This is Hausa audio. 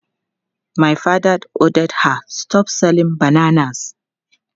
My father ordered her "stop selling bananas!"